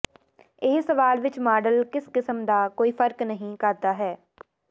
ਇਹ ਸਵਾਲ ਵਿੱਚ ਮਾਡਲ ਕਿਸ ਕਿਸਮ ਦਾ ਕੋਈ ਫ਼ਰਕ ਨਹੀ ਕਰਦਾ ਹੈ